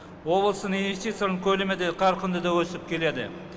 облыстың инвестицияның көлемі де қарқынды да өсіп келеді